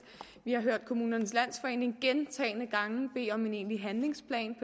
vi har hørt kommunernes landsforening gentagne gange bede om en egentlig handlingsplan